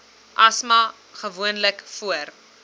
asma gewoonlik voor